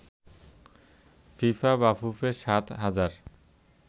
FIFA BAFUFE সাত হাজার